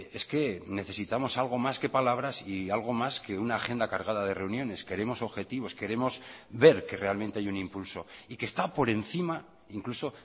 es que necesitamos algo más que palabras y algo más que una agenda cargada de reuniones queremos objetivos queremos ver que realmente hay un impulso y que está por encima incluso